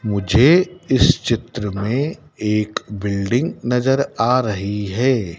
मुझे इस चित्र में एक बिल्डिंग नजर आ रही है।